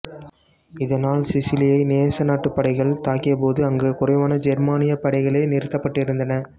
இதனால் சிசிலியை நேச நாட்டுப் படைகள் தாக்கிய போது அங்கு குறைவான ஜெர்மானியப் படைகளே நிறுத்தப்பட்டிருந்தன